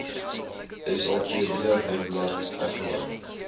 sapd webblad afgelaai